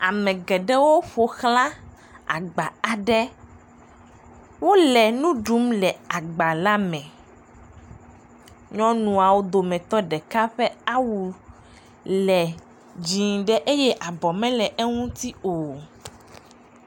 Ame geɖewo ƒoxla agba aɖe, wole nuɖum le agba la me, nyɔnuawo dometɔ ɖeka ƒe awu le dzɛ̃ ɖe eye abɔ mele eŋuti o.